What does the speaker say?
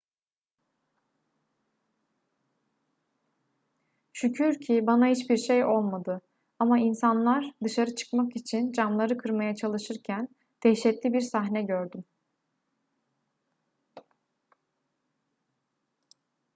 şükür ki bana hiçbir şey olmadı ama insanlar dışarı çıkmak için camları kırmaya çalışırken dehşetli bir sahne gördüm